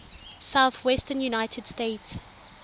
southwestern united states